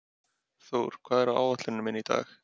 Thór, hvað er á áætluninni minni í dag?